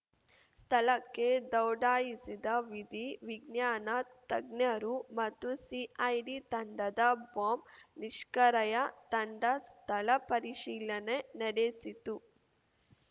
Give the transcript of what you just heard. ಸ್ಥಳಕ್ಕೆ ದೌಡಾಯಿಸಿದ ವಿಧಿ ವಿಜ್ಞಾನ ತಜ್ಞರು ಮತ್ತು ಸಿಐಡಿ ತಂಡದ ಬಾಂಬ್‌ ನಿಷ್ಕರಯ ತಂಡ ಸ್ಥಳ ಪರಿಶೀಲನೆ ನಡೆಸಿತು